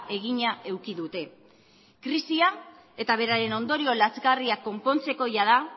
egina eduki dute krisia eta beraren ondorio lazgarriak konpontzeko jada